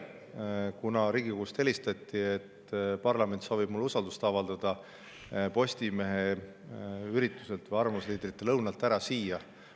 Kuna Riigikogust helistati, et parlament soovib mulle usaldust avaldada, pidin ma tulema eile Postimehe ürituselt, arvamusliidrite lõunalt ära siia.